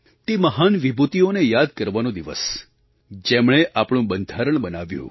તે મહાન વિભૂતિઓને યાદ કરવાનો દિવસ જેમણે આપણું બંધારણ બનાવ્યું